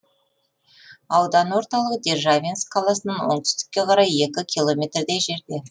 аудан орталығы державинск қаласынан оңтүстікке қарай екі километрдей жерде